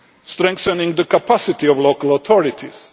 strengthening the capacity of local authorities